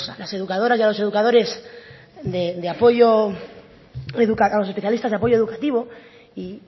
las educadoras y a los educadores de apoyo a los especialistas de apoyo educativo y